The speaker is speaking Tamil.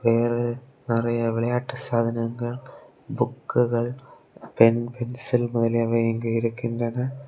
இது ஒரு நறைய விளையாட்டு சாதனைகள் புக்குகள் பென் பென்சில் முதலியவை இங்கு இருக்கின்றன.